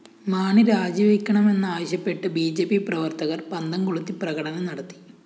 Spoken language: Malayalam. മാണി രാജിവയ്ക്കണമെന്നാവശ്യപ്പെട്ട് ബി ജെ പി പ്രവര്‍ത്തകര്‍ പന്തംകൊളുത്തി പ്രകടനം നടത്തി